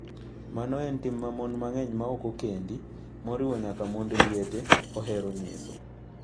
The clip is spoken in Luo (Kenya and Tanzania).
Mano en tim ma mon mang'eny maok okend, moriwo nyaka mond liete, hinyo nyiso.